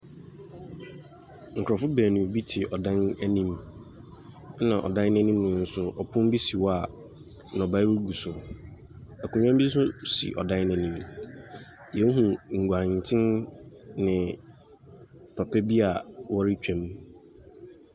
Nkurɔfo baanu bi te ɔdan bi anim ɛna ɔdan no anim nso ɔpono bi si hɔ a nnɔbaeɛ gugu so. Akonnwa bi nso si ɔdan no anim. Yɛhunu nguanten ne papa bi a wɔretwam.